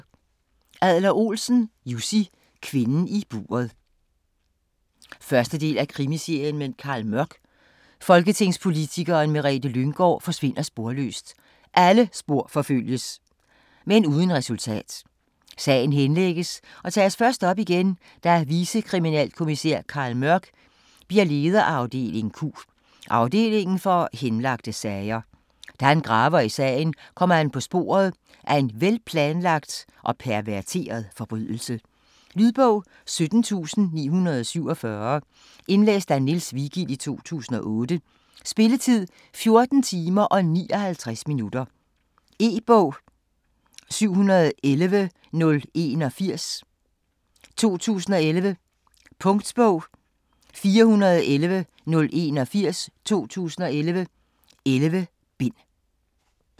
Adler-Olsen, Jussi: Kvinden i buret 1. del af Krimiserien med Carl Mørck. Folketingspolitikeren Merete Lynggaard forsvinder sporløst. Alle spor forfølges, men uden resultat. Sagen henlægges og tages først op igen, da vicekriminalkommisær Carl Mørck bliver leder af afdeling Q, afdelingen for henlagte sager. Da han graver i sagen, kommer han på sporet af en velplanlagt og perverteret forbrydelse. Lydbog 17947 Indlæst af Niels Vigild, 2008. Spilletid: 14 timer, 59 minutter. E-bog 711081 2011. Punktbog 411081 2011. 11 bind.